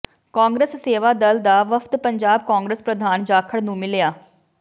ਕਾਂਗਰਸ ਸੇਵਾ ਦਲ ਦਾ ਵਫਦ ਪੰਜਾਬ ਕਾਂਗਰਸ ਪ੍ਰਧਾਨ ਜਾਖੜ ਨੂੰ ਮਿਲਿਆ